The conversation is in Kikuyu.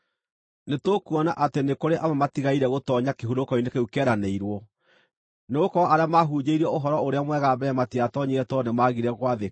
Nĩtũkuona atĩ nĩ kũrĩ amwe matigaire gũtoonya kĩhurũko-inĩ kĩu kĩeranĩirwo, nĩgũkorwo arĩa maahunjĩirio Ũhoro-ũrĩa-Mwega mbere matiatoonyire tondũ nĩmagire gwathĩka.